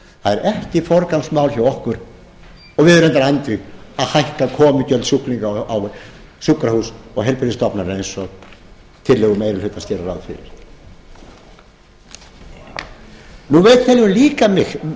er ekki forgangsmál hjá okkur og við erum reyndar andvíg því að hækka komugjöld sjúklinga á sjúkrahús og heilbrigðisstofnanir eins og tillögur meiri hlutans gera ráð fyrir við teljum